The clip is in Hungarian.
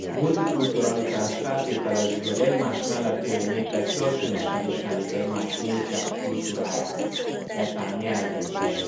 A multikulturalitás feltételezi, hogy egymás mellett élő népek kölcsönösen ismerik egymás múltját, kultúráját, netán nyelvét is.